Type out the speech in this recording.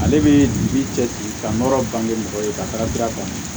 Ale bɛ bin cɛ ci ka nɔrɔ bange mɔgɔ ye ka taga sira kan